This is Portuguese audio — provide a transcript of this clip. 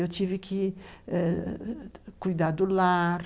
Eu tive que eh cuidar do lar,